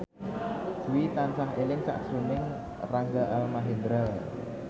Dwi tansah eling sakjroning Rangga Almahendra